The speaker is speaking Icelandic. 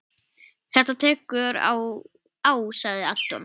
Þetta tekur á sagði Anton.